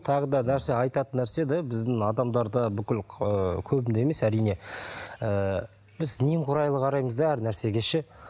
тағы да нәрсе айтатын нәрсе да біздің адамдарда бүкіл ыыы көбінде емес әрине ііі біз немқұрайлы қараймыз да әр нәрсеге ше